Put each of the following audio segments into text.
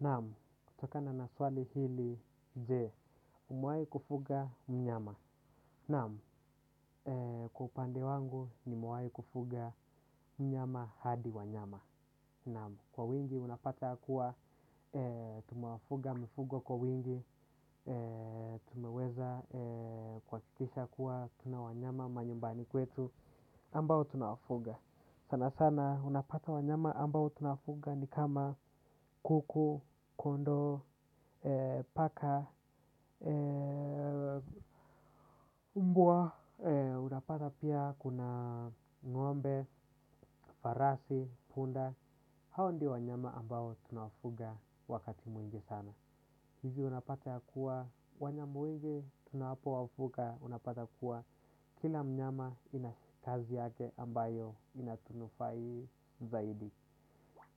Naam, kutokana na swali hili je, umewai kufuga mnyama. Naam, kwa upande wangu nimewai kufuga mnyama hadi wanyama. Naam, kwa wingi unapata kuwa, tumewafuga mifugo kwa wingi, tumeweza kuhakikisha kuwa, tuna wanyama, manyumbani kwetu, ambao tunawafuga. Sana sana unapata wanyama ambao tunafuga ni kama kuku, kondoo, paka, mbwa, unapata pia kuna ngombe, farasi, punda, hao ndo wanyama ambao tunawafuga wakati mwingi sana. Hizi unapata kuwa wanyama wengi tunapowafuga unapata kuwa kila mnyama ana kazi yake ambayo inatunufai zaidi.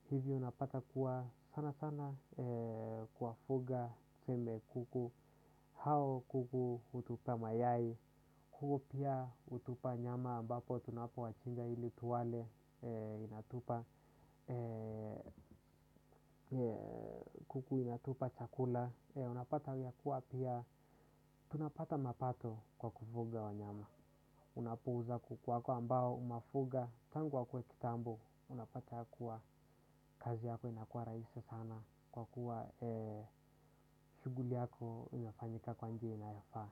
Hizi unapata kuwa sana sana kuwafuga tuseme kuku hao kuku hutupa mayai kuku pia hutupa nyama ambapo tunapo wachija ili tuwale inatupa kuku inatupa chakula. Unapata ya kuwa pia tunapata mapato kwa kufuga wanyama. Unapo uuza kuku wako ambao umewafuga tangu wakue kitambo unapata ya kuwa kazi yako inakua rahisi sana. Kwa kuwa shughuli yako inafanyika kwa njia inayofaa.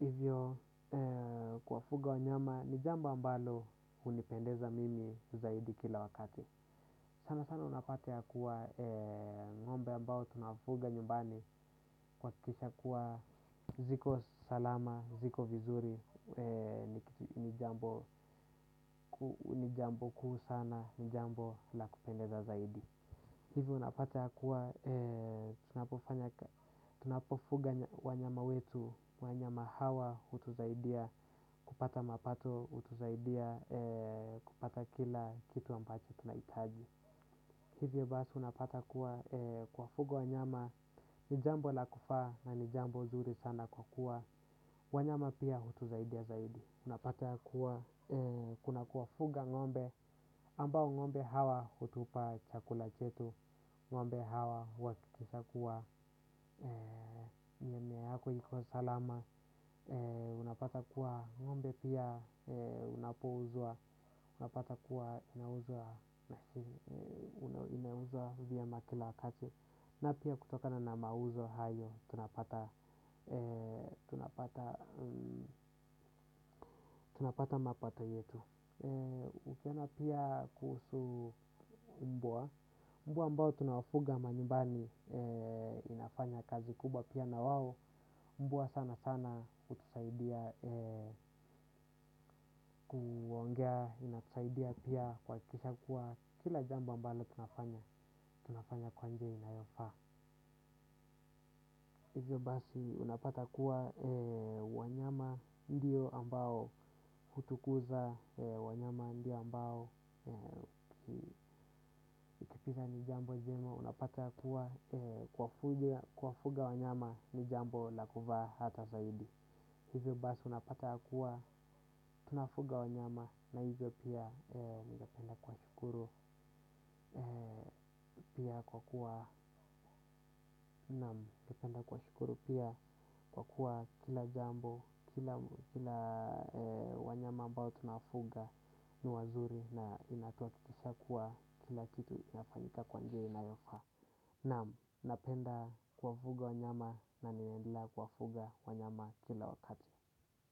Hivyo kufuga wanyama ni jambo ambalo hunipendeza mimi zaidi kila wakati. Sana sana unapata ya kuwa ngombe ambao tunafuga nyumbani kuhakikisha kuwa ziko salama, ziko vizuri, ni jambo kuu sana, ni jambo la kupendeza zaidi. Hivyo unapata kuwa, tunapofuga wanyama wetu, wa nyama hawa, utusaidia, kupata mapato, utusaidia, kupata kila kitu ambacho tunahitaji. Hivyo basi unapata kuwa kuwafuga wanyama, ni jambo la kufaa na ni jambo nzuri sana kwa kuwa, wanyama pia utusaidia zaidi. Unapata kuwa, kuna kuwafuga ngombe, ambao ngombe hawa hutupa chakula chetu, ngombe hawa wakishakuwa, mimea yako ikiwa salama, unapata kuwa ngombe pia, inapouzwa, unapata kuwa inauzwa vyema kila wakati, na pia kutokana na mauzo hayo, tunapata mapato yetu. Ukienda pia kuhusu mbwa mbwa ambao tunawafuga manyumbani inafanya kazi kubwa pia na wao. Mbwa sana sana hutusaidia kuongea. Inatusaidia pia kuhakikisha kuwa kila jambo ambalo tunafanya. Tunafanya kwa njia inayofaa hivyo basi unapata kuwa wanyama ndio ambao hutukuza wanyama ndio ambao tipiza ni jambo jema unapata kuwa kuwafuga wanyama ni jambo la kufaa hata zaidi hivyo basi unapata kuwa tunafuga wanyama na hivyo pia ningependa kuwashukuru pia kwa kuwa ningependa kuwashukuru pia kwa kuwa kila jambo kila wanyama ambao tunafuga ni wazuri na inatuhakikishia kuwa kila kitu inafanyika kwa njia inayofa. Naam, napenda kuwafuga wanyama na ninaendelea kuwafuga wanyama kila wakati.